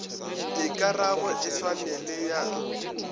dikarabo e swane le ya